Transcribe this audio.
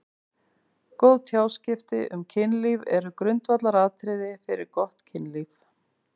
Góð tjáskipti um kynlíf eru grundvallaratriði fyrir gott kynlíf.